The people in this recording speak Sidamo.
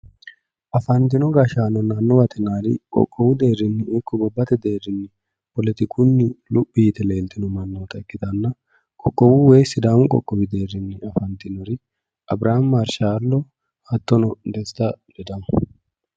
Afantino gashshaanonna annuwate yinanniri qoqqowu deerrinni ikko gobbate deerrinni poletikunni luphi yite leltino mannoota ikkitanna, qoqqowu woyi Sidaamu deerrinni afantinori Abiriham Marshaalo attono Desta Ledamo